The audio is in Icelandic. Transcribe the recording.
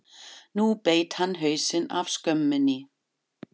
Nú beit hann hausinn af skömminni!